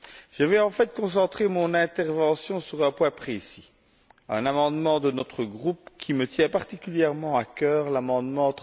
Je vais, en fait, concentrer mon intervention sur un point précis, à savoir un amendement de notre groupe qui me tient particulièrement à cœur, l'amendement